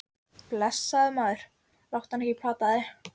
Blessaður, maður, láttu hana ekki plata þig.